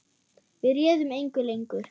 Við réðum engu lengur.